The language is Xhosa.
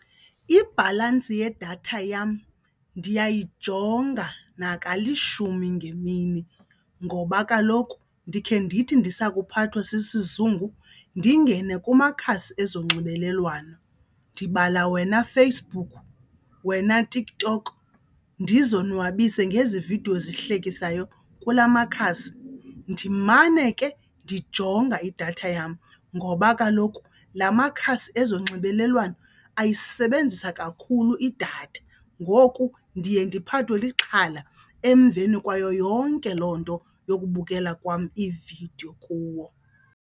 Ibhalansi yedatha yam ndiyayijonga nakalishumi ngemini ngoba kaloku ndikhe ndithi ndisakhuphathwa sisizungu ndingene kumakhasi ezonxibelelwano, ndibala wena Facebook, wena TikTok, ndizonwabise ngezi vidiyo zihlekisayo kula makhasi. Ndimane ke ndijonga idatha yam ngoba kaloku la makhasi ezonxibelelwano ayisebenzisa kakhulu idatha ngoku ndiye ndiphathwe lixhala emveni kwayo yonke loo nto yokubukela kwam iividiyo kuwo.